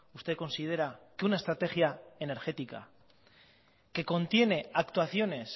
usted considera que una estrategia energética que contiene actuaciones